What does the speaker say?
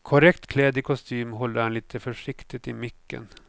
Korrekt klädd i kostym håller han lite försiktigt i micken.